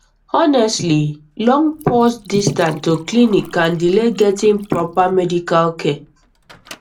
honestly long pause distances to clinics can delay getting proper medical care